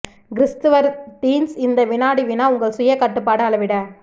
கிரிஸ்துவர் teens இந்த வினாடி வினா உங்கள் சுய கட்டுப்பாடு அளவிட